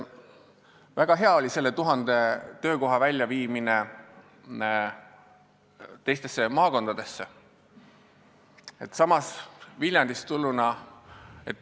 Väga hea oli nende tuhande töökoha väljaviimine teistesse maakondadesse.